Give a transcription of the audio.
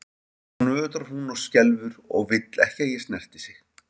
Og nú nötrar hún og skelfur og vill ekki að ég snerti sig.